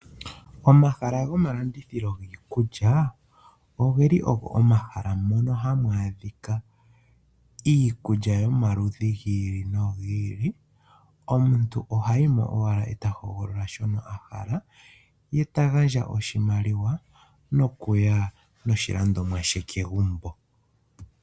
Omahala goma landithilo giikulya, ogeli ogo omahala mono hamu adhika iikulya yomaludhi gi ili nogi ili. Omuntu oha yimo owala eta hogolola shono ahala, ye ta gandja oshimaliwa, nokuya noshilandomwa she kegumbo.